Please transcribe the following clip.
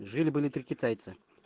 жили-были три китайца